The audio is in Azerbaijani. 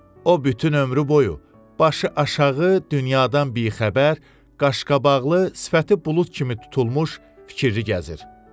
O bütün ömrü boyu başı aşağı, dünyadan bixəbər, qaşqabaqlı, sifəti bulud kimi tutulmuş fikirlidir.